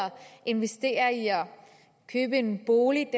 investere i at købe en bolig og